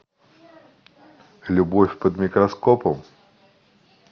любовь под микроскопом